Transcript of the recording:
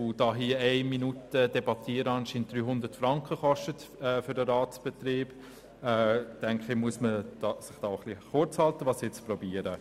Da es für den Ratsbetrieb anscheinend 300 Franken kostet, hier eine Minute zu debattieren, sollte man sich kurz halten, was ich auch versuche.